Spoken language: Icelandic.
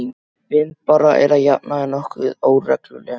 Vindbára er að jafnaði nokkuð óregluleg.